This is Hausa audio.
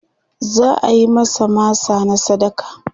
za'ayi masa masa na sadaka